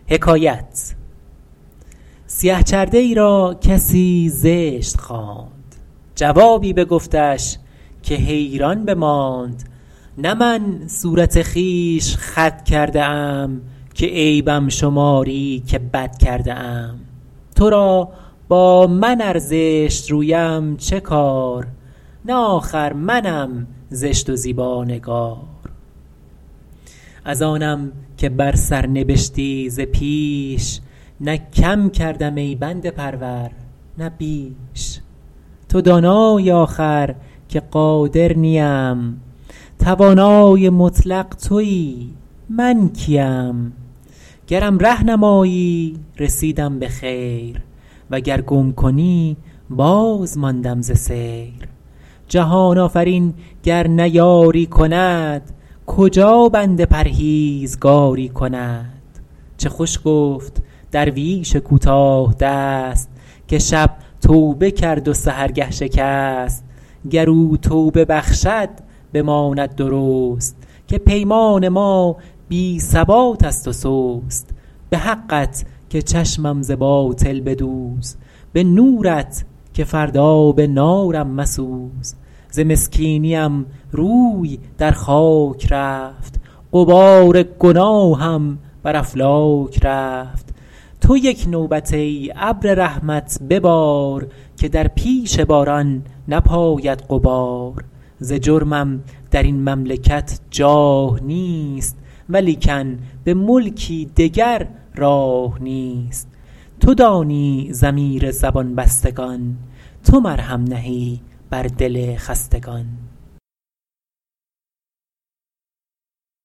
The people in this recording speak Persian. سیه چرده ای را کسی زشت خواند جوابی بگفتش که حیران بماند نه من صورت خویش خود کرده ام که عیبم شماری که بد کرده ام تو را با من ار زشت رویم چه کار نه آخر منم زشت و زیبانگار از آنم که بر سر نبشتی ز پیش نه کم کردم ای بنده پرور نه بیش تو دانایی آخر که قادر نیم توانای مطلق تویی من کیم گرم ره نمایی رسیدم به خیر وگر گم کنی باز ماندم ز سیر جهان آفرین گر نه یاری کند کجا بنده پرهیزکاری کند چه خوش گفت درویش کوتاه دست که شب توبه کرد و سحرگه شکست گر او توبه بخشد بماند درست که پیمان ما بی ثبات است و سست به حقت که چشمم ز باطل بدوز به نورت که فردا به نارم مسوز ز مسکینیم روی در خاک رفت غبار گناهم بر افلاک رفت تو یک نوبت ای ابر رحمت ببار که در پیش باران نپاید غبار ز جرمم در این مملکت جاه نیست ولیکن به ملکی دگر راه نیست تو دانی ضمیر زبان بستگان تو مرهم نهی بر دل خستگان